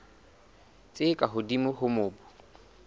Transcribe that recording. tse ka hodimo tsa mobu